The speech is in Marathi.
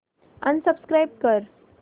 अनसबस्क्राईब कर